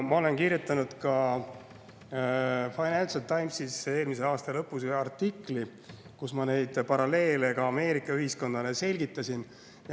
Ma kirjutasin Financial Timesi eelmise aasta lõpus artikli, kus ma neid paralleele ka Ameerika ühiskonnale selgitasin.